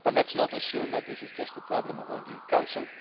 But let us not assume that this is just a problem only in the Council.